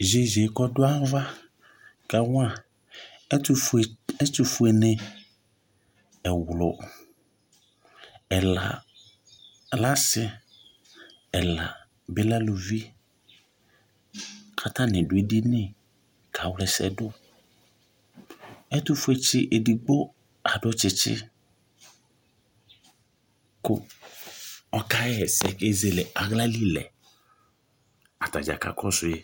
yeye k'ɔdu ava ka wa ɛtufue ni ɛwlò ɛla lɛ asi ɛla bi lɛ aluvi k'atani do ɛdini ka wla ɛsɛ do ɛtufue tsi edigbo adu tsitsi kò ɔka ɣa ɛsɛ k'ezele ala li lɛ atadza ka kɔsu yi